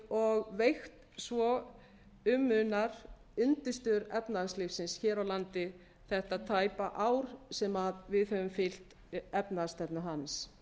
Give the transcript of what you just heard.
og veikt svo um munar undirstöður efnahagslífsins hér á landi þetta tæpa ár sem við höfum fylgt efnahagsstefnu hans